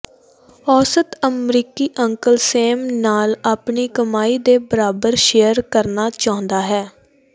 ਔਸਤ ਅਮਰੀਕੀ uncle Sam ਨਾਲ ਆਪਣੀ ਕਮਾਈ ਦੇ ਬਰਾਬਰ ਸ਼ੇਅਰ ਕਰਨਾ ਚਾਹੁੰਦਾ ਹੈ